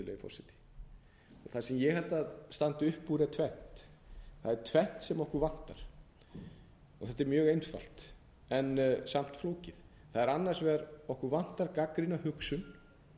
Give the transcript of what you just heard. virðulegi forseti það sem ég held að standi upp úr er tvennt það er tvennt sem okkur vantar og þetta er mjög einfalt en samt flókið það er annars vegar að okkur vantar gagnrýna hugsun